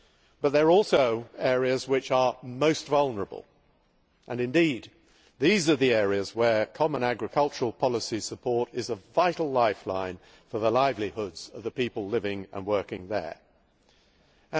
But they are also areas which are most vulnerable, and indeed these are the areas where common agricultural policy support is a vital lifeline for the livelihoods of the people living and working there.